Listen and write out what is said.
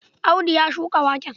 Audu ya shuka waken?